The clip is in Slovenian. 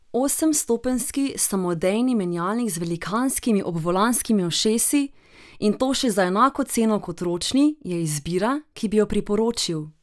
Osemstopenjski samodejni menjalnik z velikanskimi obvolanskimi ušesi, in to še za enako ceno kot ročni, je izbira, ki bi jo priporočil.